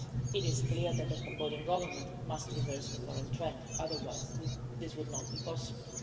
But it is clear that the Cambodian Government must reverse the current trend, otherwise this would not be possible.